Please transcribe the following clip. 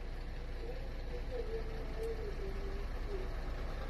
wuoyo gijolweny mawelo bende nochung